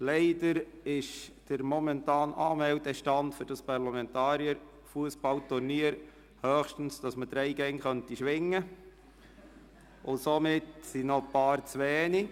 Leider ist der momentane Anmeldestand für das Parlamentarier-Fussballturnier so, dass noch ein paar Leute fehlen.